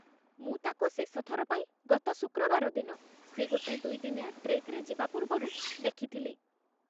ମୁଁ ତାକୁ ଶେଷଥର ପାଇଁ ଗତ ଶୁକ୍ରବାର ଦିନ, ସେ ଗୋଟେ ଦୁଇଦିନିଆ ଟ୍ରେକ୍‌ରେ ଯିବା ପୂର୍ବରୁ, ଦେଖିଥିଲି ।